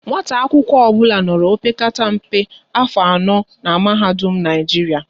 Nwata akwụkwọ ọbụla nọrọ opekata mpe afọ anọ n'mahadum Naijiria